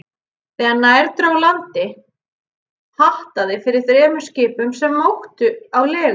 Þegar nær dró landi, hattaði fyrir þremur skipum, sem móktu á legunni.